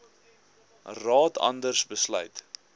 raad anders besluit